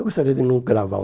Eu gostaria de não gravar